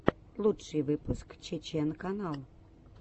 лучший выпуск чечен канал